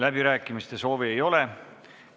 Läbirääkimiste soovi ei ole.